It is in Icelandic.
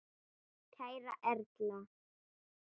Kæra Erla.